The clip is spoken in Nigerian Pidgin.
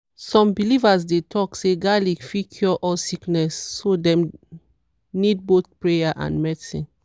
some believers dey talk say garlic fit cure all sickness so dem need both prayer and medicine.